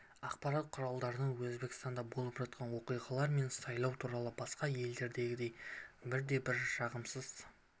ақпарат құралдарынан өзбекстанда болып жатқан оқиғалар мен сайлау туралы басқа елдердегідей бір де бір жағымсыз